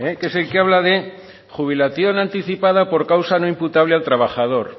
que es el que habla de jubilación anticipada por causa no imputable al trabajador